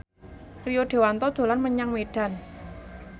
Rio Dewanto dolan menyang Medan